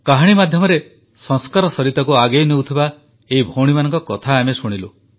କାହାଣୀ ମାଧ୍ୟମରେ ସଂସ୍କାରସରିତାକୁ ଆଗେଇ ନେଉଥିବା ଏହି ଭଉଣୀମାନଙ୍କ କଥା ଆମେ ଶୁଣିଲୁ